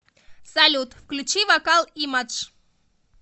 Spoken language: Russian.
салют включи вокал имадж